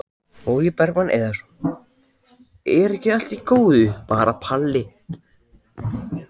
Logi Bergmann Eiðsson: Er ekki allt í góðu bara Palli?